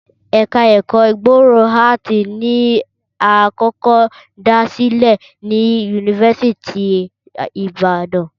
Ẹ̀ka ẹ̀kọ́ gbòòrò áàtì ni a kọ́kọ́ dá sílẹ̀ ni yunifásítì ti Ìbàdàn